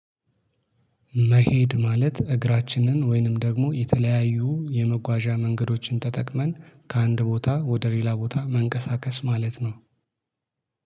መሄድ ማለት እግራችንን ወይንም ደግሞ የተለያዩ የመጓዣ መንገዶችን ተጠቅመን ከአንድ ቦታ ወደ ሌላ ቦታ መንቀሳቀስ ማለት ነው